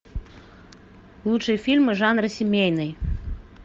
лучшие фильмы жанра семейный